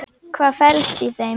Hvað felst í þeim?